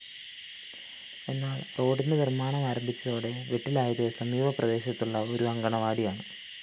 എന്നാല്‍ റോഡിന്റെ നിര്‍മ്മാണമാരംഭിച്ചതോടെ വെട്ടിലായത് സമീപ പ്രദേശത്തുള്ള ഒരു അംഗണവാടിയാണ്